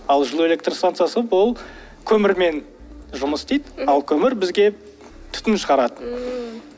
ал жылу электростанциясы бұл көмірмен жұмыс істейді ал көмір бізге түтін шығарады ммм